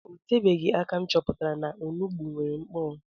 O tebeghi aka m chọpụtara na onugbu nwere nkpuru